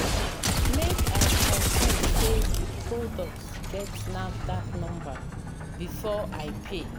Make I confirm sey di product get NAFDAC number before I pay.